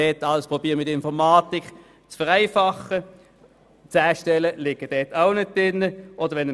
Wenngleich man mittels der Informatik versucht, die Abläufe zu vereinfachen, liegen 10 Stellen nicht drin.